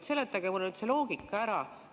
Seletage mulle nüüd see loogika ära.